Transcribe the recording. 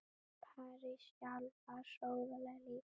París sjálf var sóðaleg líka.